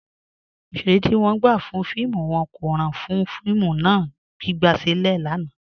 Ọṣẹ̀rẹ̀ ti wọn gbà fún fíìmù wọn kò ràn fún fíìmù náà, gbigbasilẹ̀ lánà.